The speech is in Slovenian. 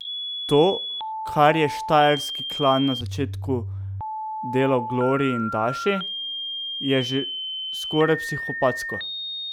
To, kar je štajerski klan na začetku delal Gloriji in Daši, je že skoraj psihopatsko.